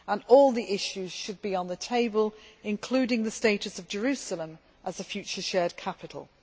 All issues should be on the table including the status of Jerusalem as the future shared capital.